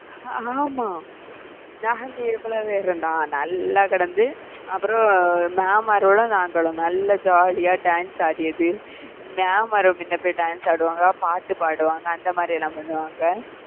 அஹ் ஆமாம் நாங்க எவ்ளோ பேர் இருந்தாலும் நல்லா கெடந்து, அப்பறம் mam மார்களும் நாங்களும் நல்லா jolly யா dance ஆடியது mam மார்களும் முன்ன போய் dance ஆடுவாங்க பாட்டு பாடுவாங்க அந்த மாதிரி எல்லாம் பண்ணுவாங்க.